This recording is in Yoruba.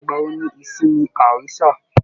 Ìgbà wò ní ìsinmi àárín sáà?